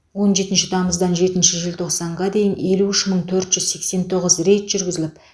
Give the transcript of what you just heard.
он жетінші тамыздан жетінші желтоқсанға дейін елу үш мың төрт жүз сексен тоғыз рейд жүргізіліліп